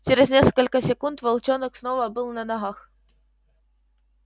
через несколько секунд волчонок снова был на ногах